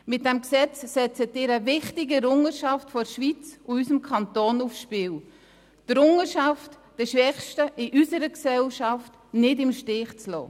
Mit diesem Gesetz setzen Sie eine wichtige Errungenschaft der Schweiz und unseres Kantons aufs Spiel, nämlich die Errungenschaft, die Schwächsten in unserer Gesellschaft nicht im Stich zu lassen.